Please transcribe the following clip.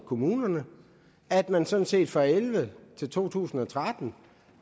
kommunerne at man sådan set fra og elleve til to tusind og tretten